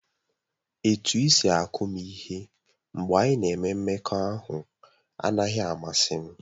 Etu isi akụ m ihe mgbe anyị na-enwe mmekọahụ anaghị amasị m.